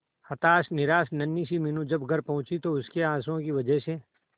हताश निराश नन्ही सी मीनू जब घर पहुंची तो उसके आंसुओं की वजह से